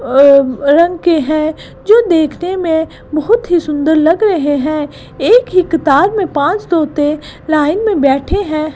अम रंग के हैं जो देखने में बहुत ही सुंदर लग रहें हैं एक ही किताब में पांच तोते लाइन में बैठे हैं।